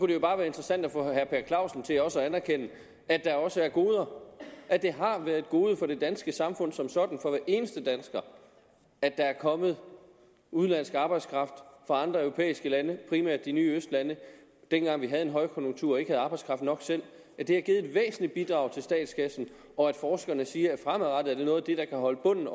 det jo bare være interessant at få herre per clausen til også at anerkende at der også er goder at det har været et gode for det danske samfund som sådan for hver eneste dansker at der er kommet udenlandsk arbejdskraft fra andre europæiske lande primært de nye østlande dengang vi havde højkonjunktur og ikke havde arbejdskraft nok selv at det har givet et væsentligt bidrag til statskassen og at forskerne siger at fremadrettet er det noget af det der kan holde bunden